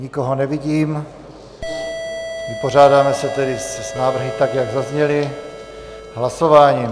Nikoho nevidím, vypořádáme se tedy s návrhy, tak jak zazněly, hlasováním.